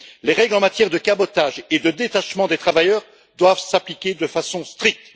Les règles en matière de cabotage et de détachement des travailleurs doivent s'appliquer de façon stricte.